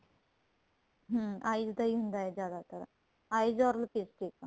ਹਮ eyes ਦਾ ਹੁੰਦਾ ਜਿਆਦਾਤਰ eyes or lipstick